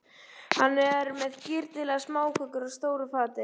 Hann er með girnilegar smákökur á stóru fati.